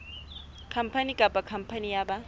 khampani kapa khampani ya ba